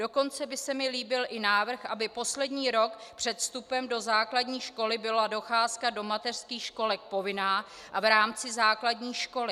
Dokonce by se mi líbil i návrh, aby poslední rok před vstupem do základní školy byla docházka do mateřských školek povinná a v rámci základní školy.